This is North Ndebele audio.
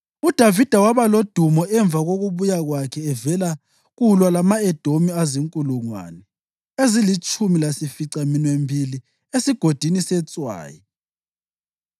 UDavida waba lodumo emva kokubuya kwakhe evela kulwa lama-Edomi azinkulungwane ezilitshumi lasificaminwembili eSigodini seTswayi.